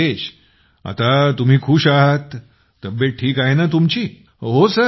मग राजेश आता तुम्ही खुश आहात तब्येत ठीक आहे तुमची